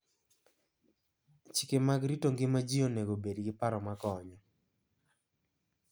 Chike mag rito ngima ji onego obed gi paro makonyo.